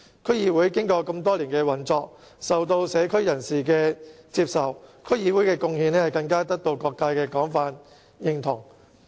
區議會經過多年來的運作，受到社區人士接受，其貢獻更得到各界的廣泛認同。